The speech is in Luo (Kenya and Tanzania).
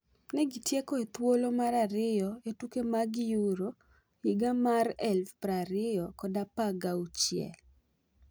Negi tieko e thuolo mar ariyo e tuke mag Euro 2016.